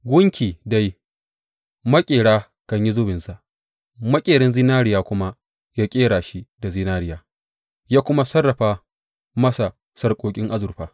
Gunki dai, maƙeri kan yi zubinsa, maƙerin zinariya kuma yă ƙera shi da zinariya yă kuma sarrafa masa sarƙoƙin azurfa.